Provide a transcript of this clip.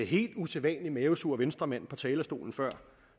helt usædvanlig mavesur venstremand på talerstolen før